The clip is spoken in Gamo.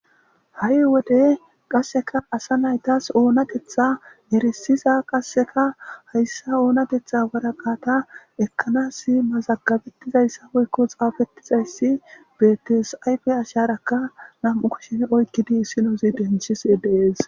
Ha"ii wodde qasekka asa naytas onanateththa erissiza qasekka hayissa onateththa waraqata ekanasi mazagebetizayssa woyikko xafetizayss bettes ista acharakka nam'u kushshe oyqidi issinezi denthishshe dess